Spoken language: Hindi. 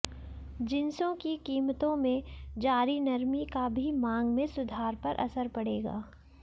जिंसों की कीमतों में जारी नरमी का भी मांग में सुधार पर असर पड़ेगा